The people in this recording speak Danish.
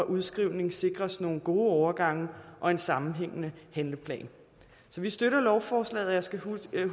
udskrivning sikres nogle gode overgange og en sammenhængende handleplan så vi støtter lovforslaget og jeg skal huske